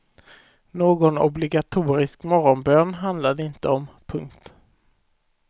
Någon obligatorisk morgonbön handlar det inte om. punkt